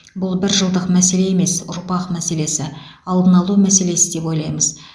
бұл бір жылдық мәселе емес ұрпақ мәселесі алдын алу мәселесі деп ойлаймыз